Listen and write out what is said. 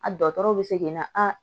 A dɔgɔtɔrɔ bɛ se ka na